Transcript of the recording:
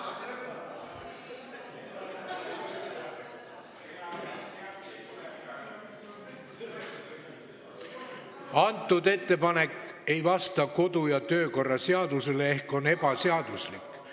See ettepanek ei vasta kodu- ja töökorra seadusele ehk on ebaseaduslik.